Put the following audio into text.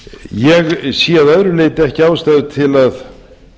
ég sé að öðru leyti ekki ástæðu til að